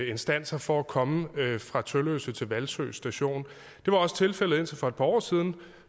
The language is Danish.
instanser for at komme fra tølløse station til hvalsø station det var også tilfældet indtil for et par år siden